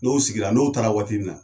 N'o sigira n'o taara waati min na